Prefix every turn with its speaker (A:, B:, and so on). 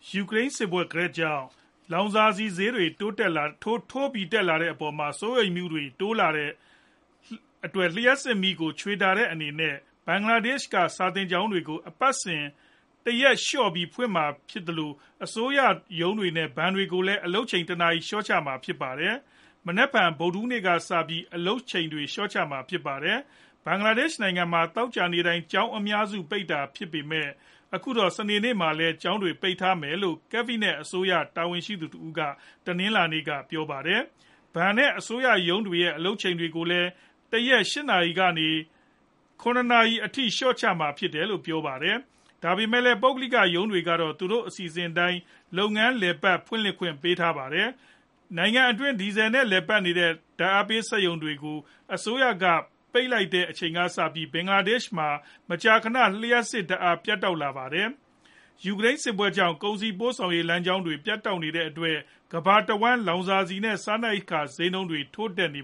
A: ယူကရိန်းစစ်ပွဲ ဂယက်ကြောင့် လောင်စာဆီဈေးတွေ ထိုးတက်လာနေတဲ့အပေါ် စိုးရိမ်မှုတွေတိုးလာနေချိန်မှာ လ ျှပ်စစ်ဓာတ်အားခြွေတာတဲ့အနေနဲ့ ဘင်္ဂလားဒေ့ရှ်က စာသင်ကျောင်းတွေကို အပတ်စဉ် တရက်လေ ျှာ့ဖွင့်မှာဖြစ်သလို အစိုးရရုံးတွေနဲ့ ဘဏ်တွေကိုလည်း အလုပ်ချိန်တနာရီလေ ျှာ့ ချတော့မှာဖြစ်ပါတယ်။ မနက်ဖန် ဗုဒ္ဓဟူးနေ့ကစပြီး အလုပ်ချိန်တွေလေ ျှာ့ချမှာလည်းဖြစ်ပါတယ်။ ဘင်္ဂလားဒေ့ရှ်နိုင်ငံမှာ သောကြာနေ့တိုင်း ကျောင်းအများစု ပိတ်တာဖြစ်ပေမယ့် ခုတော့ စနေနေ့မှာလည်း ကျောင်းတွေပိတ်ထားမယ်လို့ ကက်ဘိနက်အစိုးရအဖွဲ့ တာဝန်ရှိသူတဦးက တနင်္လာနေ့မှာ ပြောပါတယ်။ ဘဏ်နဲ့ အစိုးရရုံးတွေရဲ့အလုပ်ချိန်ကိုလည်း တရက် ၈ နာရီကနေ ၇ နာရီထိလေ ျှာ့ချမှာဖြစ်တယ်လို့လည်း ပြောပါတယ်။ ဒါပေမယ့်လည်း ပုဂ္ဂလိက ရုံးတွေကတော့ သူတို့အစီအစဉ်အတိုင်း လုပ်ငန်းလည်ပတ်ဖွင့်လှစ်ခွင့်ပြုထားပါတယ်။ နိုင်ငံတွင်း ဒီဇယ်ဆီနဲ့ လည်ပတ်တဲ့ ဓာတ်အားပေးစက်ရုံတွေ ကိုအစိုးရက ပိတ်လိုက်တဲ့အချိန်ကစပြီး ဘင်္ဂလားဒေ့ရှ်မှာ မကြာခဏ လ ျှပ်စစ်ဓာတ်အားပြတ်တောက်လာတာဖြစ်ပါတယ်။ ယူကရိန်းစစ်ပွဲကြောင့် ကုန်စည်ပို့ဆောင်ရေး လမ်းကြောင်းတွေ ပြတ်တောက်နေတဲ့အတွက် ကမ္ဘာတဝန်း လောင်စာဆီနဲ့ စားနပ်ရိက္ခာ ဈေးနှုန်းတွ
B: ေ ထိုးတက်နေ